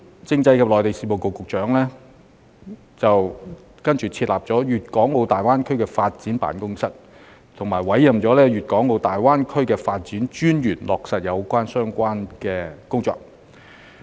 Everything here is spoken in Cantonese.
政制及內地事務局亦設立粵港澳大灣區發展辦公室，並委任粵港澳大灣區發展專員落實相關工作。